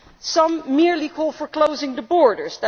Some merely call for closing the borders.